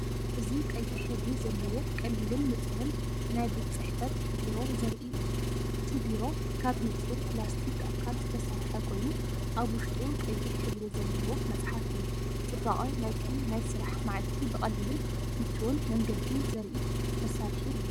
እዚ ቀይሕ ሕብሪ ዘለዎ ቀሊልን ንጹርን ናይ ቤት ጽሕፈት ቢሮ ዘርኢ እዩ። እቲ ቢሮ ካብ ንጹር ፕላስቲክ ኣካል ዝተሰርሐ ኮይኑ፡ኣብ ውሽጡ ቀይሕ ሕብሪ ዘለዎ መፅሓፍ እዩ። ጽባቐ ናይቲ ናይ ስራሕ መዓልቲ ብቐሊልን ምቹእን መንገዲ ዘርኢ መሳርሒ እዩ።